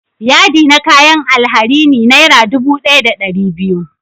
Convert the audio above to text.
Yadi na kayan alharini naira dubu daya da dari biyu.